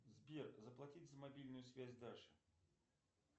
сбер заплатить за мобильную связь даши